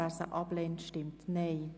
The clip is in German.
Wer sie ablehnt, stimmt Nein.